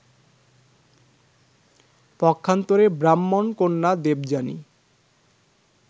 পক্ষান্তরে ব্রাহ্মণকন্যা দেবযানী